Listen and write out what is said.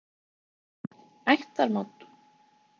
Heimir: Ættarmót?